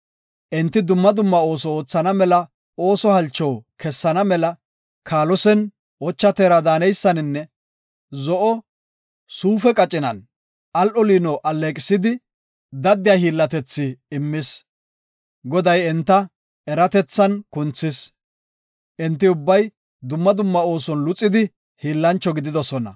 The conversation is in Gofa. Enti dumma dumma ooso oothana mela ooso halcho kessana mela, kaalosen, ocha teera daaneysaninne zo7o suufe qacinan al7o liino alleeqisidi, daddiya hiillatethi immis. Goday enta, eratethan kunthis. Enti ubbay dumma dumma ooson luxida hiillancho gididosona.